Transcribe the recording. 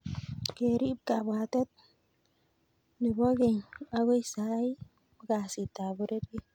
kerip kabwatet be bo keny agoi saii ko kasit ab pororiet